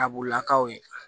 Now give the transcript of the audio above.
Abulakaw ye